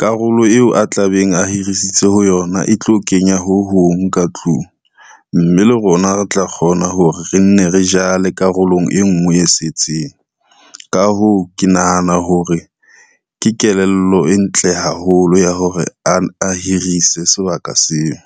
karolo eo a tlabeng a hirisitse ho yona e tlo kenya ho hong ka tlung, mme le rona re tla kgona hore re nne re jale karolong e ngwe e setseng. Ka hoo, ke nahana hore ke kelello e ntle haholo ya hore a hirise sebaka seo.